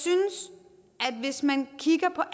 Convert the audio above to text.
at hvis man kigger på